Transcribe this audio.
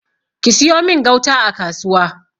siyo min gauta a kasuwa!